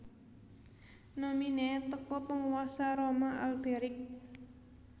nominee teko Penguasa Roma Alberic